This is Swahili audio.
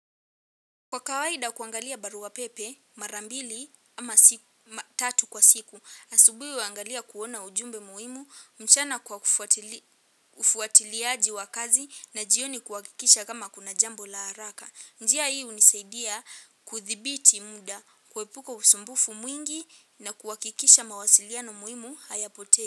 Kwa kawaida kuangalia barua pepe marambili ama tatu kwa siku, asubui waangalia kuona ujumbe muhimu mchana kwa ufuatiliaji wa kazi na jioni kuakikisha kama kuna jambo la haraka. Njia hii unisaidia kuthibiti muda, kuepuka usumbufu mwingi na kuakikisha mawasiliano muimu hayapotei.